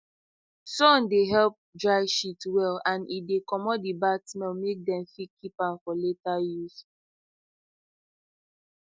sun dey help dry shit well and e dey commot the bad smell make dem fit keep am for later use